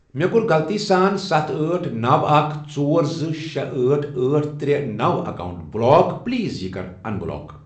مےٚ کوٚر غلطی سان ستھ، أٹھ، نوَ، اکھَ،،زٕ، ژورشے، أٹھ، أٹھ، ترے، نوَ، اکاونٹ بلاک پلیز یہِ کَر ان بلاک۔